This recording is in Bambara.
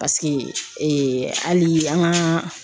Paseke hali an ka